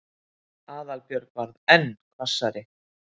Aðalbjörg varð enn hvassari.